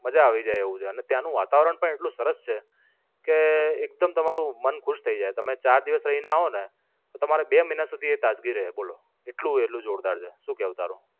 મજા આવી જાય તેવું છે. અને ત્યાં નું વાતાવરણ પણ એટલું સરસ છે કે એકદમ તમારું મન ખુશ થાય જાય. તમે ચાર દિવસ રઈ ને આવો ને તો તમારે બે મહિના સુધી એ તાજગી રેય બોલો. એટલું એનું જોરદાર છે. શું કેવું તારું?